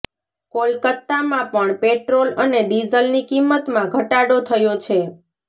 કોલકત્તામાં પણ પેટ્રોલ અને ડીઝલની કિંમતમાં ઘટાડો થયો છે